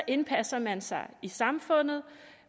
indpasser man sig i samfundet